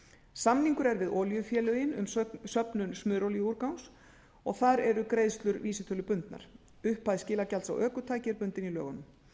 samningur er við olíufélögin um söfnun smurolíuúrgangs og þar eru greiðslur vísitölubundnar upphæð skilagjalds á ökutæki er bundin í lögunum